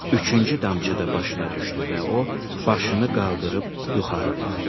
üçüncü damcı da başına düşdü və o başını qaldırıb yuxarı baxdı.